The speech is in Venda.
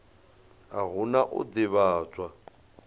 a hu na u ḓivhadzwa